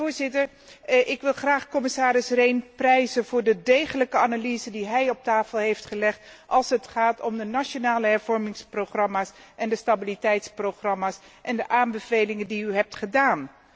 Voorzitter, ik wil graag commissaris Rehn prijzen voor de degelijke analyse die hij op tafel heeft gelegd als het gaat om de nationale hervormingsprogramma's en de stabiliteitsprogramma's en de aanbevelingen die hij heeft gedaan.